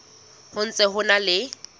ho ntse ho na le